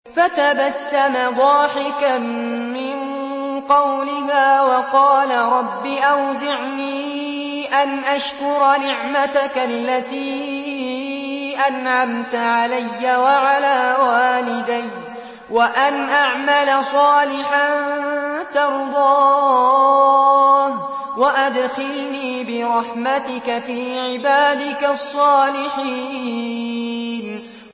فَتَبَسَّمَ ضَاحِكًا مِّن قَوْلِهَا وَقَالَ رَبِّ أَوْزِعْنِي أَنْ أَشْكُرَ نِعْمَتَكَ الَّتِي أَنْعَمْتَ عَلَيَّ وَعَلَىٰ وَالِدَيَّ وَأَنْ أَعْمَلَ صَالِحًا تَرْضَاهُ وَأَدْخِلْنِي بِرَحْمَتِكَ فِي عِبَادِكَ الصَّالِحِينَ